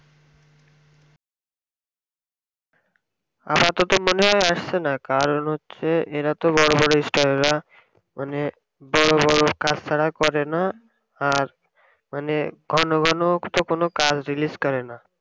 আপাততও মনে হয়ই আসছে না কারণ হচ্ছে এরা তো বড়ো বড়ো star রা মানে বড়ো বড়ো কাজ ছাড়া করেনা আর মানে ঘন ঘন তো কোনও কাজ release করে না